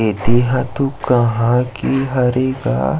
ऐदे हातो कहा की हरे का --